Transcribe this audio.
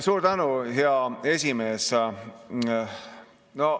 Suur tänu, hea esimees!